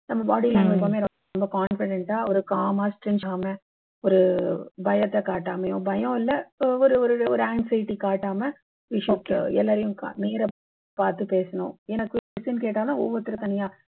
நம்ப body language எப்பயுமே ரொம்ப confident ஆ ஒரு calm ஆ ஒரு பயத்தை காட்டாமயும் பயம் இல்லை ஒரு ஒரு ஒரு anxiety காட்டாம we should எல்லாரையும் க நேரா பார்த்து பேசனு என்ன question கேட்டாலும் ஒவ்வொருத்தரும் தனியா